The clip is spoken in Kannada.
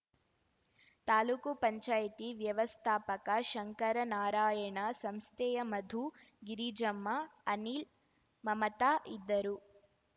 ತಾಲೂಕು ಪಂಚಾಯ್ತಿ ವ್ಯವಸ್ಥಾಪಕ ಶಂಕರನಾರಾಯಣ ಸಂಸ್ಥೆಯ ಮಧು ಗಿರಿಜಮ್ಮ ಅನಿಲ್‌ ಮಮತಾ ಇದ್ದರು